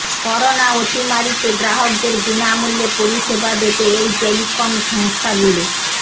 corona অতিমারিতে গ্রাহকদের বিনামূল্যে পরিষেবা দেবে এই টেলিকম সংস্থাগুলি